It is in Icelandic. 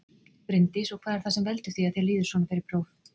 Bryndís: Og hvað er það sem veldur því að þér líður svona fyrir próf?